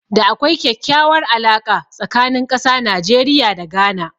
Da akwai kyakkyawar alaka tsakanin ƙasa Najeriya da Ghana